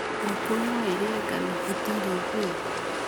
Ngũkũ no irĩe ngano ĩtarĩ thĩe.